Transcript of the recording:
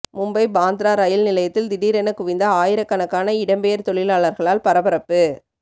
மும்பை பாந்த்ரா ரயில் நிலையத்தில் திடீரென குவிந்த ஆயிரக்கணக்கான இடம்பெயர் தொழிலாளர்களால் பரபரப்பு